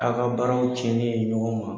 Aw ka baaraw cɛnni ye ɲɔgɔn ma,